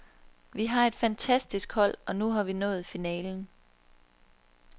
Vi har et fantastisk hold, og nu har vi nået finalen.